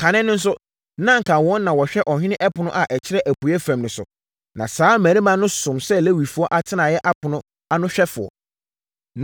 Kane no nso, na anka wɔn na wɔhwɛ ɔhene ɛpono a ɛkyerɛ apueeɛ fam no so. Na saa mmarima no som sɛ Lewifoɔ atenaeɛ apono ano ahwɛfoɔ.